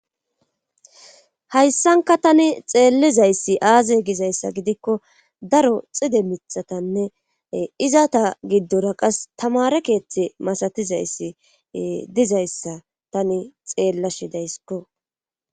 hayssanka tani xeellizayssi aaze gizayssa gidikko daro xide mitatanne izata giddora qas tamare keeththe masatizayssi dizayssa tani xeellashidaysikko